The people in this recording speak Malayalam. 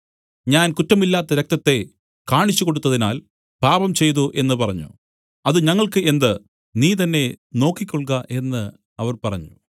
ഞാൻ കുറ്റമില്ലാത്ത രക്തത്തെ കാണിച്ചുകൊടുത്തതിനാൽ പാപംചെയ്തു എന്നു പറഞ്ഞു അത് ഞങ്ങൾക്കു എന്ത് നീ തന്നേ നോക്കിക്കൊൾക എന്നു അവർ പറഞ്ഞു